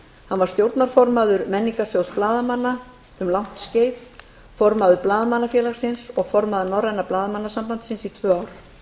hann var stjórnarformaður menningarsjóðs blaðamanna um langt skeið formaður blaðamannafélagsins og formaður norræna blaðamannasambandsins í tvö ár